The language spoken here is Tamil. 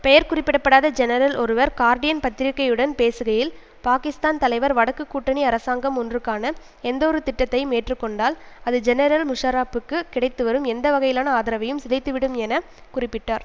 பெயர் குறிப்பிட படாத ஜெனரல் ஒருவர் கார்டியன் பத்திரிகையுடன் பேசுகையில் பாகிஸ்தான் தலைவர் வடக்குக் கூட்டணி அரசாங்கம் ஒன்றுக்கான எந்த ஒரு திட்டத்தையும் ஏற்று கொண்டால் அது ஜெனரல் முஷாரப்புக்கு கிடைத்துவரும் எந்த வகையிலான ஆதரவையும் சிதைத்து விடும் என குறிப்பிட்டார்